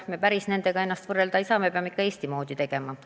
Me nendega ennast kuigi hästi võrrelda ei saa, me peame ikka Eesti moodi asju ajama.